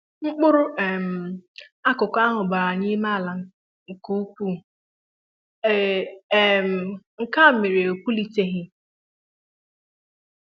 Mkpụrụ um akụkụ ahụ bara n'ime ala nkè ukwuu, um nke méré na o pulitelighị